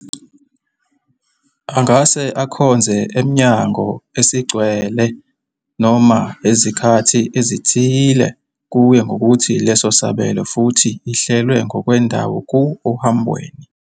Angase akhonze emnyango a esigcwele noma ngezikhathi ezithile, kuye ngokuthi leso sabelo, futhi ihlelwe ngokwendawo ku ohambweni.